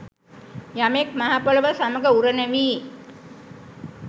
යමෙක් මහ පොළව සමඟ උරණ වී